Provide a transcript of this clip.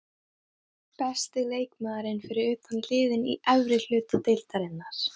Besti leikmaðurinn fyrir utan liðin í efri hluta deildarinnar?